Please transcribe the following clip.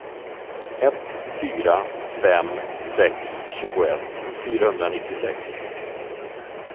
ett fyra fem sex tjugoett fyrahundranittiosex